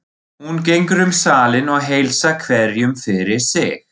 Hún gengur um salinn og heilsar hverjum fyrir sig.